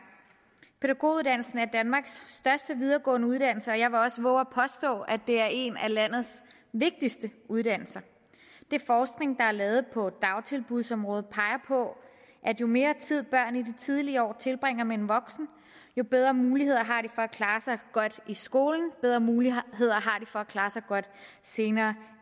pædagoguddannelsen er danmarks største videregående uddannelse og jeg vil også vove at påstå at det er en af landets vigtigste uddannelser den forskning der er lavet på dagtilbudsområdet peger på at jo mere tid børn i de tidlige år tilbringer med en voksen jo bedre muligheder har de at klare sig godt i skolen og jo bedre muligheder har de for at klare sig godt senere